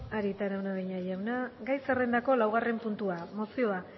arieta araunabeña jauna gai zerrendako laugarren puntua mozioa